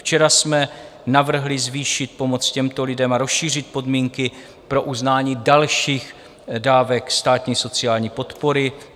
Včera jsme navrhli zvýšit pomoc těmto lidem a rozšířit podmínky pro uznání dalších dávek státní sociální podpory.